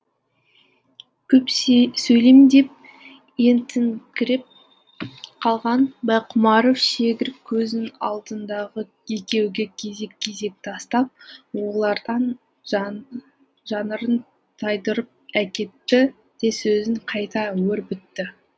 көп сөйлеймін деп ентігіңкіреп қалған байқұмаров шегір көзін алдындағы екеуге кезек кезек тастап олардан жанарын тайдырып әкетті де сөзін қайта өрбітті